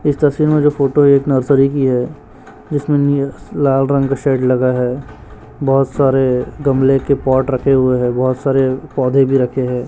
इस तस्वीर में जो फोटो है एक नर्सरी की है जिसमें नी लाल रंग शेड लगा है बहोत सारे गमले के पॉट रखे हुए हैं बहोत सारे पौधे भी रखे हैं।